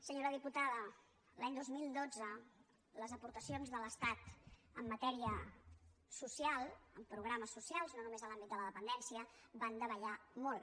senyora diputada l’any dos mil dotze les aportacions de l’estat en matèria social en programes socials no només en l’àmbit de la dependència van davallar molt